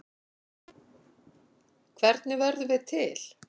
Hvernig verðum við til?